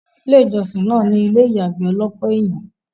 ilé ìjọ́sìn náà ní ilé ìyàgbẹ́ ọlọ́pọ̀ ènyàn